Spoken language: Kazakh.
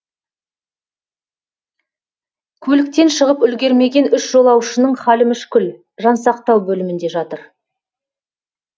көліктен шығып үлгермеген үш жолаушының халі мүшкіл жансақтау бөлімінде жатыр